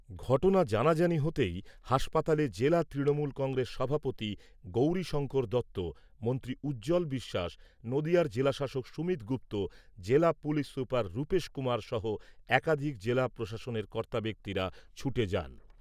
ঘটনা জানাজানি হতেই হাসপাতালে জেলা তৃণমূল কংগ্রেস সভাপতি গৌরীশঙ্কর দত্ত, মন্ত্রী উজ্জ্বল বিশ্বাস, নদীয়ার জেলাশাসক সুমিত গুপ্ত, জেলা পুলিশ সুপার রূপেশ কুমার সহ একাধিক জেলা প্রশাসনের কর্তা ব্যক্তিরা ছুটে যান।